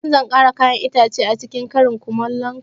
Wani satin zan kara kayan itace acikin karin kumalon ka